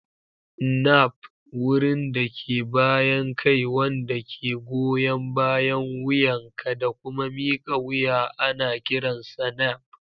Nape: Wurin da ke bayan kai wanda ke goyan bayan wuyanka da kuma mika wuya ana kiransa nape.